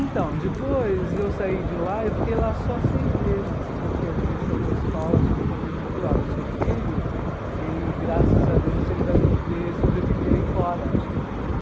Então, depois eu saí de lá, eu fiquei lá só seis meses, porque a direção da escola chegou para minha mãe e falou, olha, o seu filho, ele, graças a Deus, ele vai poder sobreviver aí fora,